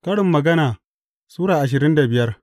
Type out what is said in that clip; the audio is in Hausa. Karin Magana Sura ashirin da biyar